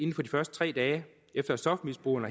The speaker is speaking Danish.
de første tre dage efter stofmisbrugeren